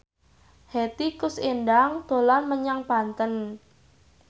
Hetty Koes Endang dolan menyang Banten